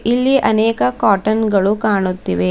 ಇಲ್ಲಿ ಅನೇಕ ಕಾಟನ್ ಗಳು ಕಾಣುತ್ತಿವೆ.